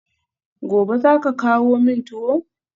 Gobe ​​zaka kawo min tuwo?